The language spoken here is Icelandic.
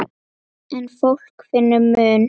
En fólk finnur mun.